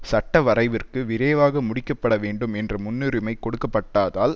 சட்டவரைவிற்கு விரைவாக முடிக்கப்பட வேண்டும் என்ற முன்னுரிமை கொடுக்கப்பட்டாதால்